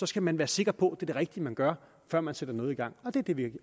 skal man være sikker på at det er det rigtige man gør før man sætter noget i gang det er det vi